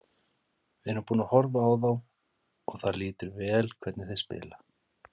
Við erum búnir að horfa á þá og það lítur vel hvernig þeir spila.